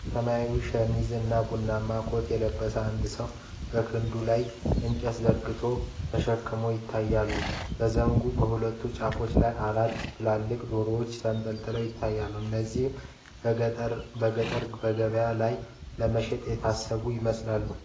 ሰማያዊ ሸሚዝ እና ቡናማ ኮት የለበሰ አንድ ሰው በክርኑ ላይ የእንጨት ዘንግ ተሸክሞ ይታያል። በዘንጉ በሁለቱም ጫፍ ላይ አራት ትልልቅ ዶሮዎች ተንጠልጥለው ይታያሉ፣ እነዚህም በገበያ ላይ ለመሸጥ የታሰቡ ይመስላሉ።